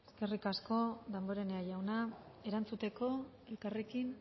eskerrik asko damborenea jauna erantzuteko elkarrekin